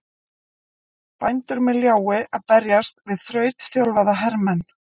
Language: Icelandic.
Bændur með ljái að berjast við þrautþjálfaða hermenn!